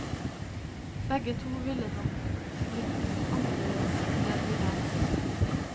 Begge to ville nok blitt litt annerledes enn det de er.